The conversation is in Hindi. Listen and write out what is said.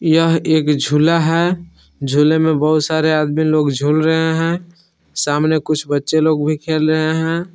यह एक झूला है झूले में बहुत सारे आदमी लोग झूम रहे हैं सामने कुछ बच्चे लोग भी खेल रहे हैं।